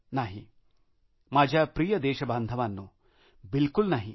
नाही माझ्या प्रिय देशबांधवांनो बिलकूल नाही